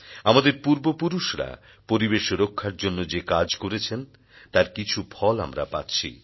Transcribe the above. আমাদের পূর্বপুরুষরা পরিবেশ রক্ষার জন্য যে কাজ করেছেন তার কিছু ফল আমরা পাচ্ছি